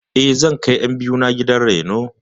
Eh, zan kai ƴan biyu na gidan raino.